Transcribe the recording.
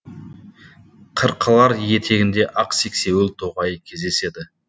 қырқалар етегінде ақ сексеуіл тоғайы кездеседі